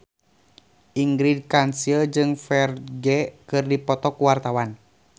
Ingrid Kansil jeung Ferdge keur dipoto ku wartawan